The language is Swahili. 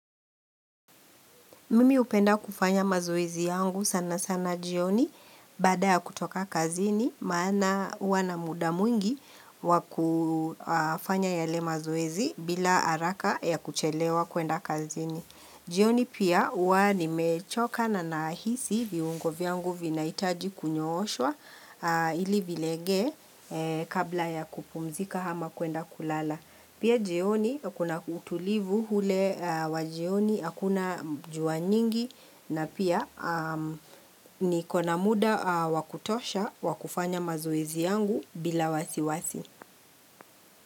Mimi hupenda kufanya mazoezi yangu sana sana jioni baada ya kutoka kazini maana huwa na muda mwingi wakufanya yale mazoezi bila haraka ya kuchelewa kuenda kazini. Jioni pia huwa ni mechoka na nahisi viungo vyangu vinahitaji kunyooshwa ili vilege kabla ya kupumzika ama kuenda kulala. Pia jioni kuna utulivu ule wa jioni hakuna jua nyingi na pia ni kona muda wakutosha wakufanya mazoezi yangu bila wasiwasi.